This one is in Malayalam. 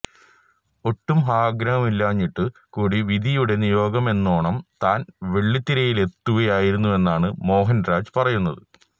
ഒട്ടും ആഗ്രഹമില്ലാതിരുന്നിട്ടു കൂടി വിധിയുടെ നിയോഗമെന്നോണം താൻ വെള്ളിത്തിരയിലെത്തുകയായിരുന്നുവെന്നാണ് മോഹൻരാജ് പറയുന്നത്